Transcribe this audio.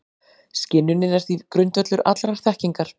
Skynjunin er því grundvöllur allrar þekkingar.